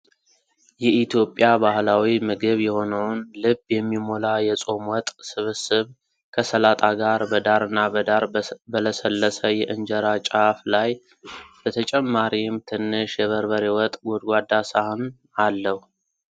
የኢትዮጵያ ባህላዊ ምግብ የሆነውን ልብ የሚሞላ የፆም ወጥ ስብስብ ከሰላጣ ጋር በዳርና በዳር በለሰለሰ የእንጀራ ጫፍ ላይ ። በተጨማሪም ትንሽ የበርበሬ ወጥ ጎድጓዳ ሳህን አለው።